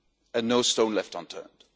and no stone left unturned.